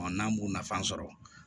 n'an b'u nafa sɔrɔ